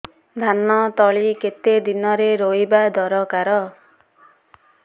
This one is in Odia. ଧାନ ତଳି କେତେ ଦିନରେ ରୋଈବା ଦରକାର